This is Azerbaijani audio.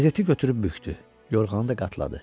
Qəzeti götürüb bükdü, yorğanı da qatladı.